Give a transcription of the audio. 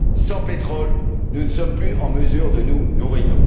Sans pétrole, nous ne sommes plus en mesure de nous nourrir.